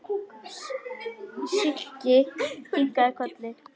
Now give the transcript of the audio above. Siggi kinkaði kolli.